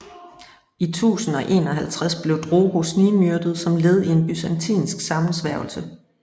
I 1051 blev Drogo snigmyrdet som led i en byzantinsk sammensværgelse